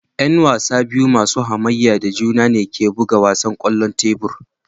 Yan wasa biyu masu hamayya da juna ne ke buga wasan kwallon tebur